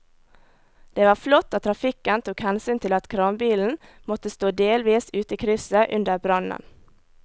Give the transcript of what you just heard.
Det var flott at trafikken tok hensyn til at kranbilen måtte stå delvis ute i krysset under brannen.